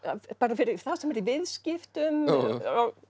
fyrir þá sem eru í viðskiptum